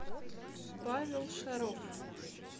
павел шаров